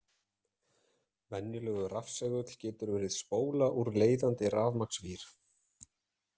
Venjulegur rafsegull getur verið spóla úr leiðandi rafmagnsvír.